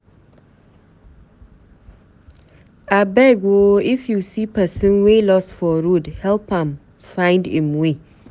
Abeg o, if you see pesin wey loss for road, help am find im way.